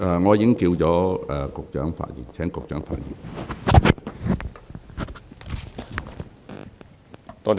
我已叫喚了局長發言。